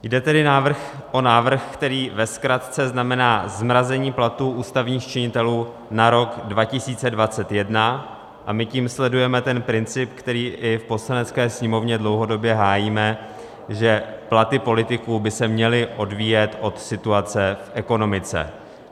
Jde tedy o návrh, který ve zkratce znamená zmrazení platů ústavních činitelů na rok 2021, a my tím sledujeme ten princip, který i v Poslanecké sněmovně dlouhodobě hájíme, že platy politiků by se měly odvíjet od situace v ekonomice.